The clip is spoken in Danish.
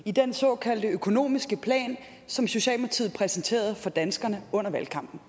i den såkaldte økonomiske plan som socialdemokratiet præsenterede for danskerne under valgkampen